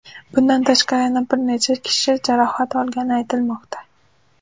Bundan tashqari yana bir necha kishi jarohat olgani aytilmoqda.